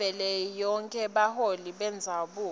yavelonkhe yebaholi bendzabuko